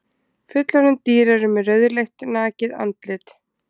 Fullorðin dýr eru með rauðleitt nakið andlit.